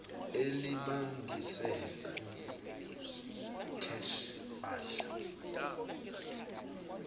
elibangise kuskheshe wadla